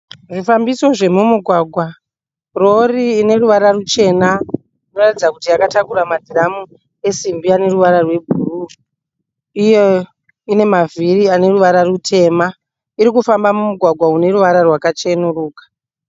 Zvifambiso zvemumugwagwa, rori ineruvara ruchena inoratidza kuti yakatakura madhiramu esimbi ane ruvara rwebhuru uye ine mavhiri ane ruvara rutema. Iri kufamba mumugwagwa wakachenuruka.